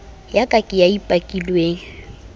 ya ka ke e bakilweng